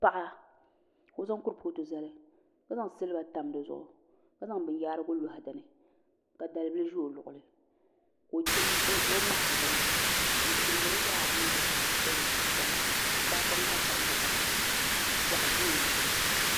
Paɣa ka o zaŋ kuripooti zali ka zaŋ silba tam di zuɣu ka zaŋ binyaarigu loɣa dinni ka dalbili ʒɛ o luɣuli ka o ŋmahari bini n chimdili yaari niŋdi tahapoŋ ni ka tahapoŋ maa tam bokati zuɣu ka piɛɣu ʒɛ o luɣuli